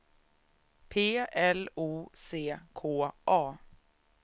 P L O C K A